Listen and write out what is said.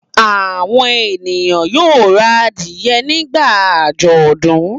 Àwọn ènìyàn yóò ra adìẹ nígbà àjọ̀dún.